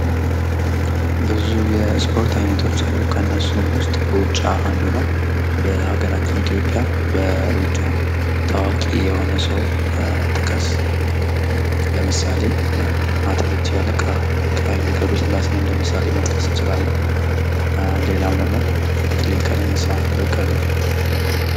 ብዙ የስፖርት አይነቶች አሉ ፤ ከእነርሱም ውስጥ ሩጫ አንዱ ነው። በሀገራችን ኢትዮጵያ በሩጫ ታዋቂ የሆነ ሰው ጥቀስ? ለምሳሌ አትሌት ሻለቃ ሀይሌ ገብረስላሴን እንደ ምሳሌ መጥቀስ እንችላለን። ሌላም ደግሞ አትሌት ቀነኒሳ በቀለ።